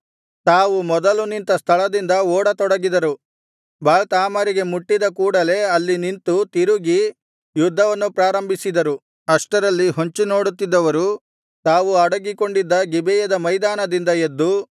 ತಾವು ಮೊದಲು ನಿಂತ ಸ್ಥಳದಿಂದ ಓಡತೊಡಗಿದರು ಬಾಳ್‌ತಾಮರಿಗೆ ಮುಟ್ಟಿದ ಕೂಡಲೆ ಅಲ್ಲಿ ನಿಂತು ತಿರುಗಿ ಯುದ್ಧವನ್ನು ಪ್ರಾರಂಭಿಸಿದರು ಅಷ್ಟರಲ್ಲಿ ಹೊಂಚಿ ನೋಡುತ್ತಿದ್ದವರು ತಾವು ಅಡಗಿಕೊಂಡಿದ್ದ ಗಿಬೆಯದ ಮೈದಾನದಿಂದ ಎದ್ದು